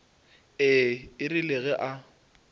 ee e rile ge a